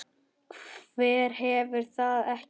Hver hefur það ekki?